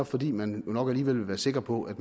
fordi man jo nok alligevel vil være sikker på at